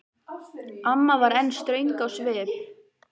Amma var enn ströng á svip.